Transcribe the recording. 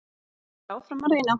Haldið áfram að reyna.